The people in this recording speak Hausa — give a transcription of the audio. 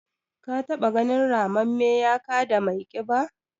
Ka taɓa ganin ramamme ya kada mai ƙiba?